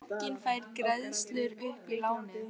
Bankinn fær greiðslur upp í lánið